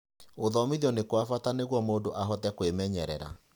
Gũthomithio nĩ kwa bata nĩguo mũndũ ahote kwĩmenyerera.